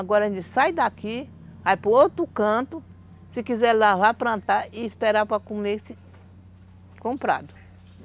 Agora a gente sai daqui, vai para outro canto, se quiser lavar, plantar e esperar para comer esse comprado.